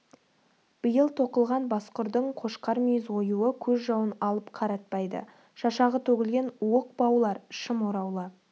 биыл тоқылған басқұрдың қошқар мүйіз оюы көз жауын алып қаратпайды шашағы төгілген уық баулар шым ораулы